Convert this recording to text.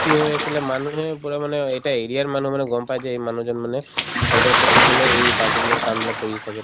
কি হৈ আছিলে মানুহে পূৰা মানে অ এটা area ৰ মানুহ মানে গম পাই যে এই মানুহজন মানে health ৰ ক্ষেত্ৰত মানে এই particular কামবিলাক কৰিয়ে থাকে